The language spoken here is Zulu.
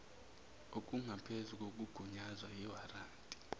okungaphezu kokugunyazwa iwaranti